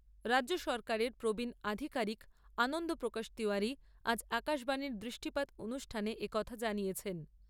রাজ্য সরকারের প্রবীণ আধিকারিক আনন্দ প্রকাশ তিওয়ারি আজ আকাশবাণীর দৃষ্টিপাত অনুষ্ঠানে এ কথা জানিয়েছেন।